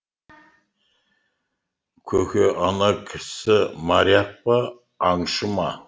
көке ана кісі моряк па аңшы ма